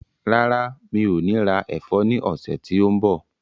Rárá, mi ò ní ra ẹ̀fọ́ ní ọ̀sẹ̀ tí ó ń bọ̀.